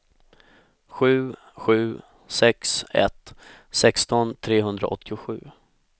sju sju sex ett sexton trehundraåttiosju